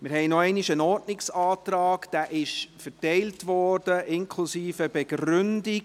Wir haben noch einmal einen Ordnungsantrag, der Ihnen verteilt worden ist, inklusive Begründung.